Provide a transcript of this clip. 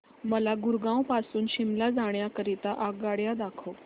मला गुरगाव पासून शिमला जाण्या करीता आगगाड्या दाखवा